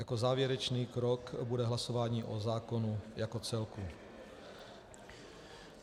Jako závěrečný krok bude hlasování o zákonu jako celku.